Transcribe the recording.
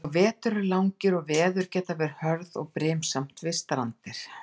Og vetur eru langir og veður geta verið hörð og brimasamt við strandir.